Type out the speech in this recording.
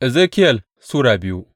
Ezekiyel Sura biyu